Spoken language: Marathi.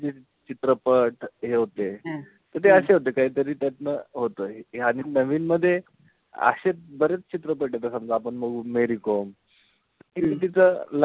चित्रपट हे होते. त ते अशे होते कधी त्यातन होतंय. हे आधी नवीन मध्ये अशे बरेच चित्रपट ए. आता समजा आपण बघू मेरी कोमी. त तिथं,